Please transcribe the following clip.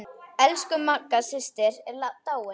Elsku Magga systir er dáin.